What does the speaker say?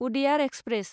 उदेयार express